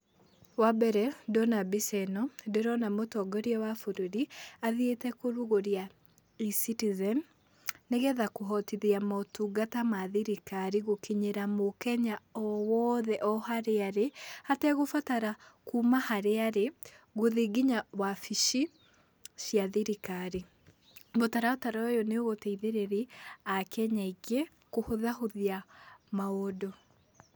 Wa mbere ndona mbica ĩno, ndĩrona mũtongoria wa bũrũri athiĩte kũrugũria eCitizen, nĩgetha kũhotithia motungata ma thirikari gũkinyĩra mũkenya o wothe o harĩa arĩ, hategũbatara kuma harĩa arĩ, gũthiĩ nginya wabici cia thirikari. Mũtaratara ũyũ nĩũgũteithĩrĩria akenya aingĩ, kũhũthahũthia maũndũ.